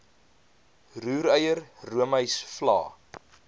roereier roomys vla